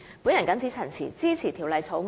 我謹此陳辭，支持《條例草案》。